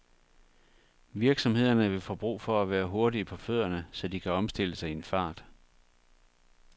Virksomhederne vil få brug for at være hurtige på fødderne, så de kan omstille sig i en fart.